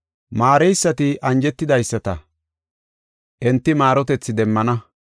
Maareysati anjetidaysata, enti maarotethi demmana.